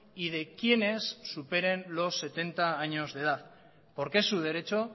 y de quienes superen los setenta años de edad porque es su derecho